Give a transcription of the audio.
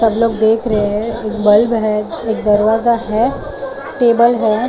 सब लोग देख रहे हैं एक बल्ब है एक दरवाजा है टेबल है ।